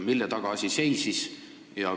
Mille taga asi seisis?